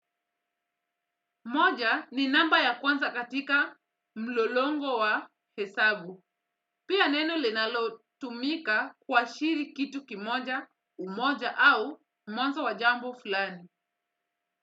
Moja ni namba ya kwanza katika mlolongo wa hesabu. Pia neno linalo tumika kwa shiri kitu kimoja, umoja au mwanzo wa jambo fulani.